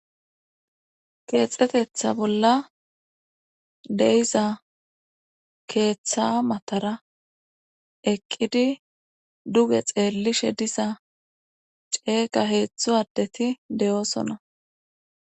Heexetetha bolla de7iza keeththa matara eqqidi duge xeellishe diza ceeqa heedzdzu addeti de7oosona.